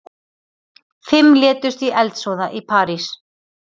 Fimm létust í eldsvoða í París